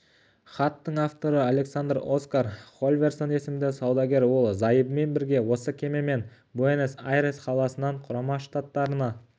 хаттың авторы александр оскар хольверсон есімді саудагер ол зайыбымен бірге осы кемемен буэнес-айрес қаласынан құрама штаттарына